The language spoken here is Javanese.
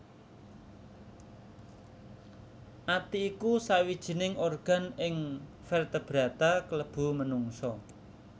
Ati iku sawijining organ ing vertebrata klebu menungsa